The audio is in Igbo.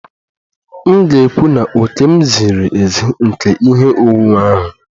M ga-ekwu na òkè m ziri ezi nke ihe onwunwe ahụ